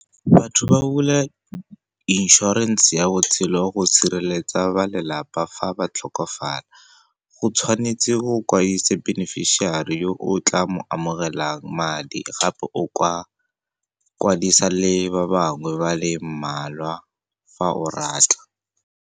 Batho ba bula inšorense ya botshelo go sireletsa ba lelapa fa ba tlhokofala. O tshwanetse o beneficiary yo o tla mo amogelang madi, gape o kwadisa le ba bangwe ba le mmalwa fa o rata.